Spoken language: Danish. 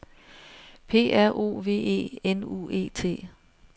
P R O V E N U E T